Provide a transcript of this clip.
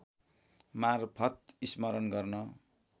मार्फत स्मरण गर्न